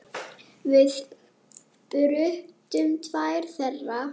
Við brutum tvær þeirra.